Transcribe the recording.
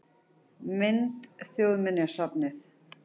Mynd: Þjóðminjasafnið